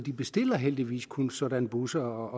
bestiller heldigvis kun sådanne busser